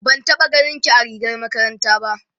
ban taɓa ganinki a rigar makaranta. ba